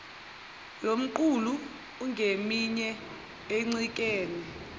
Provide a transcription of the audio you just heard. lomqulu ungeminye encikene